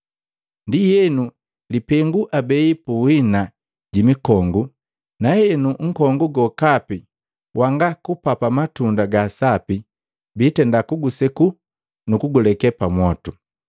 Ndienu lipengu abei punhina ji mikongu, na henu nkongu gokapi wanga kupapa matunda gasapi biitenda kuguseku nukuguleke pamwotu.